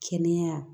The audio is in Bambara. Kɛnɛya